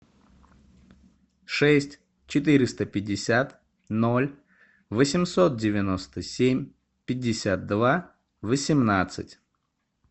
шесть четыреста пятьдесят ноль восемьсот девяносто семь пятьдесят два восемнадцать